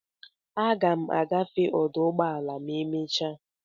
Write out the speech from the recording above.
Aga m agafe ọdụ ụgbọ ala ma emecha.